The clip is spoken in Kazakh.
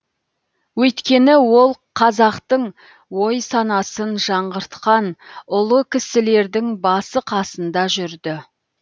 өйткені ол қазақтың ой санасын жаңғыртқан ұлы кісілердің басы қасында жүрді